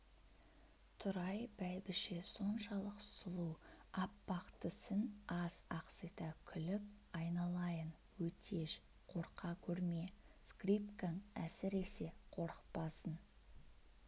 тұрай бәйбіше соншалық сұлу аппақ тісін аз ақсита күліп айналайын өтеш қорқа көрме скрипкаң әсіресе қорықпасын